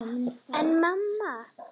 En mamma!